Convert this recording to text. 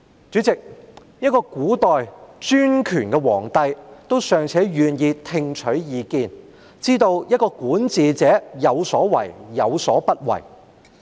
主席，一位古代專權的皇帝尚且願意聽取意見，知道管治者有所為、有所不為。